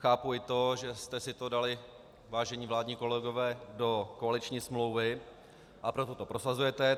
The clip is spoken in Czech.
Chápu i to, že jste si to dali, vážení vládní kolegové, do koaliční smlouvy, a proto to prosazujete.